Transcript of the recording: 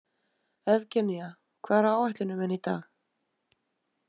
Evgenía, hvað er á áætluninni minni í dag?